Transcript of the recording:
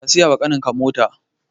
Ka siyawa ƙaninka mota